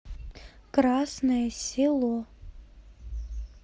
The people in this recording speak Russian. красное село